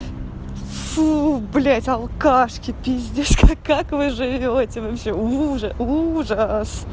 фу блять алкашки пиздец к как вы живёте вообще ужас ужас